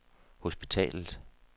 hospitalet